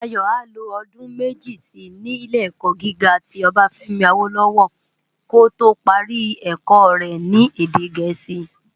Dayo á lo òdún meji si ni Ilé-èkò gigá ti Obafemi Awolowo kó tó pári èkò rè ni èdè Gẹẹsi